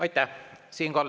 Aitäh!